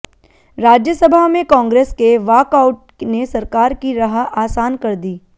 राज्यसभा में कांग्रेस के वाकआउट ने सरकार की राह आसान कर दी